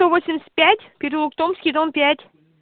сто восемьдесят пять переулок томский дом пять